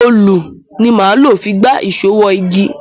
Òlù ni máa lò fi gba ìṣó wọ igi.